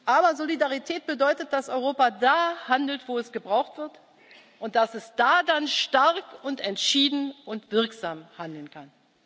Aber Solidarität bedeutet, dass Europa da handelt, wo es gebraucht wird, und dass es da dann stark und entschieden und wirksam handeln